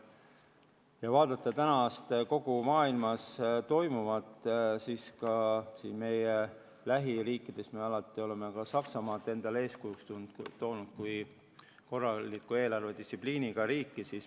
Kui vaadata täna kogu maailmas toimuvat, siis me oleme alati toonud Saksamaad endale eeskujuks kui korraliku eelarvedistsipliiniga riiki.